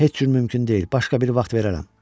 Heç cür mümkün deyil, başqa bir vaxt verərəm.